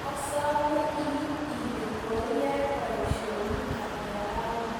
Asome iit ile koiyai boisionik ata rauni